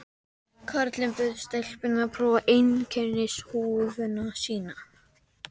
Karlinn bauð stelpunni að prófa einkennishúfuna sína.